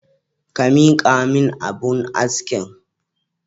Ka miƙamin abun askin.